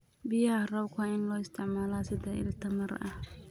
Biyaha roobka waa in loo isticmaalaa sida il tamar ah.